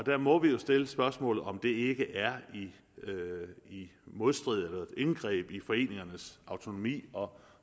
der må vi jo stille spørgsmålet om det ikke er i modstrid med eller indgreb i foreningernes autonomi og